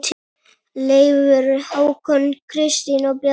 Leifur, Hákon, Kristín og Bjarni.